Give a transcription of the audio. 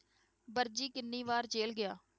ਵਰਜੀ ਕਿੰਨੀ ਵਾਰ ਜ਼ੇਲ ਗਿਆ?